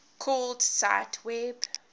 called cite web